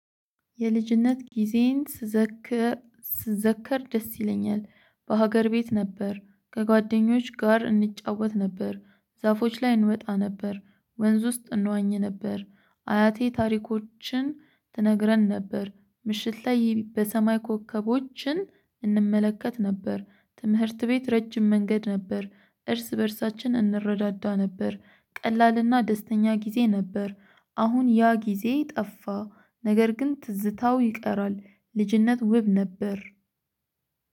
የልጅነት ጊዜየን ስዘከር ደስ ይለኛል። በሀገር ቤት ነበር ከጓደኞች ጋር እንጫወት ነበር። ዛፎች ላይ እንወጣ ነበር። ወንዝ ውስጥ እንዋኝ ነበር። አያቴ ታሪኮችን ትነግረን ነበር። ምሽት ላይ በሰማይ ኮከቦችን እንምለከት ነበር። ትምህርት ቤት ረጅም መንገድ ነበር። እርስ በእርሳችን እንረዳዳ ነበር። ቀላልና ደስተኛ ጊዜ ነበር። አሁን ያ ጊዜ ጠፋ። ነገር ግን ትዝታው ይቀራል። ልጅነት ውብ ነበር።